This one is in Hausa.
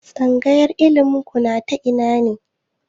Tsangayar ilimin ku na ta ina ne?